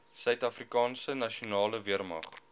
suidafrikaanse nasionale weermag